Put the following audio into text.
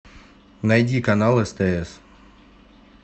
найди канал стс